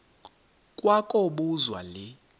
kwa kobuzwa le